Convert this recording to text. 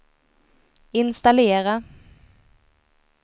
installera